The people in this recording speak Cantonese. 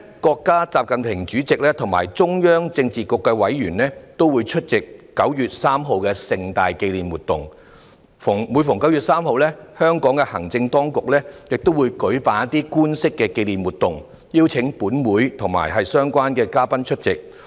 國家主席習近平及中央政治局的委員每年都會出席9月3日的盛大紀念活動，而每逢9月3日，香港的行政當局亦會舉辦官式的紀念活動，邀請立法會及相關的嘉賓出席。